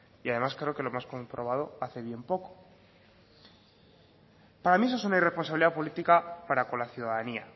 y además creo que lo hemos comprobado hace bien poco para mí eso es una irresponsabilidad política para con la ciudadanía